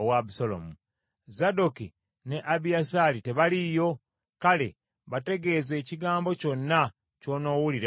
Zadooki ne Abiyasaali tebaliiyo? Kale bategeeze ekigambo kyonna ky’onoowulira mu lubiri.